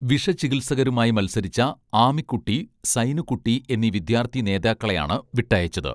വിഷചികിത്സകരുമായി മത്സരിച്ച ആമിക്കുട്ടീ സൈനുകുട്ടീ എന്നീ വിദ്യാർത്ഥി നേതാക്കളെയാണ് വിട്ടയച്ചത്